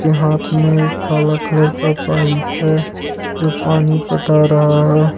के हाथ में काला कलर का पाइप है जो पानी पता रहा है।